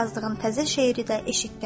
Hətta yazdığın təzə şeiri də eşitdim.